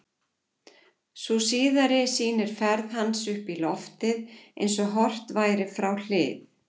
Sú síðari sýnir ferð hans upp í loftið eins og horft væri frá hlið.